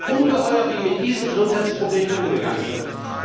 Es ist ungeheuerlich, wie mit diesen Gesundheitsproblemen umgegangen wird.